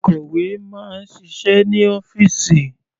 Akọ̀wé máa ń ṣiṣẹ́ ní ọ́fìsì.